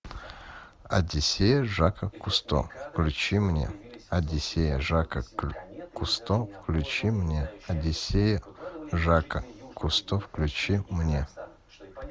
одиссея жака кусто включи мне одиссея жака кусто включи мне одиссея жака кусто включи мне